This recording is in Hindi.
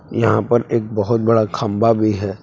यहां पर एक बहुत बड़ा खंभा भी है।